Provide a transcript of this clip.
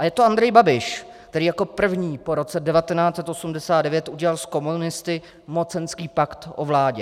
A je to Andrej Babiš, který jako první po roce 1989 udělal s komunisty mocenský pak o vládě.